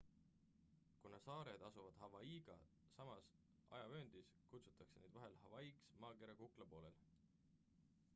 kuna saared asuvad hawaiiga samas ajavööndis kutsutakse neid vahel hawaiiks maakera kuklapoolel